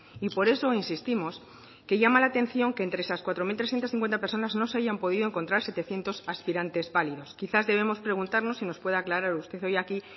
y por eso insistimos que llama la atención que entre esas cuatro mil trescientos cincuenta personas no se hayan podido encontrar setecientos aspirantes válidos quizás debemos preguntarnos si nos puede aclarar usted hoy aquí